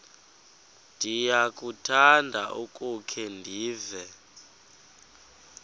ndiyakuthanda ukukhe ndive